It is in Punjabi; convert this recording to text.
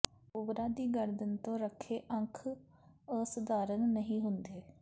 ਕੋਬਰਾ ਦੀ ਗਰਦਨ ਤੋਂ ਰੱਖੇ ਅੰਖ ਅਸਧਾਰਨ ਨਹੀਂ ਹੁੰਦੇ